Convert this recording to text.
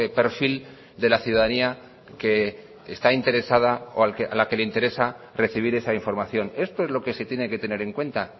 perfil de la ciudadanía que está interesada o a la que le interesa recibir esa información esto es lo que se tiene que tener en cuenta